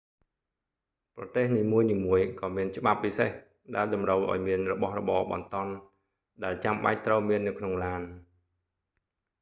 ប្រទេសនីមួយៗក៏មានច្បាប់ពិសេស ដែលតម្រូវឱ្យមានរបស់របរបន្ទាន់ ដែលចាំបាច់ត្រូវមាននៅក្នុងឡាន